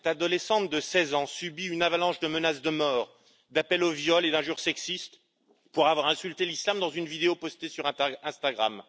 Cette adolescente de 16 ans subit une avalanche de menaces de mort, d'appels au viol et d'injures sexistes pour avoir insulté l'islam dans une vidéo postée sur Instagram.